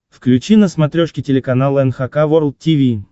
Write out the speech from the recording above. включи на смотрешке телеканал эн эйч кей волд ти ви